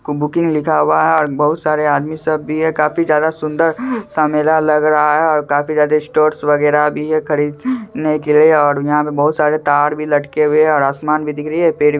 booking लिखा हुआ है और बहुत सारे आदमी सब भी है काफी ज्यादा सुन्दर सा मेला लग रहा है और काफी ज्यादे स्टोर्स वगेरा भी है खरीदने के लिए और यहा पे बहुत सारे तार भी लटके हुए है और आसमान भी दिख रही है पेड़--